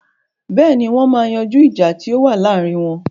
Bẹ́ẹ̀ni, wọ́n ma yanjú ìjà tí ó wà láàrin wọn.